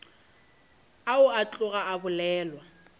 ao a tloga a bolelwa